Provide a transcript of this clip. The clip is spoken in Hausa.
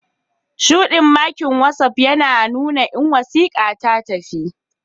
Shudi makin watsapp yina nuna in wasika tatafi.